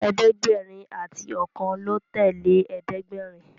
ẹ̀ẹ́dẹ̀gbẹ̀rin àti okan ló tẹlẹ ẹ̀ẹ́dẹ̀gbẹ̀rin.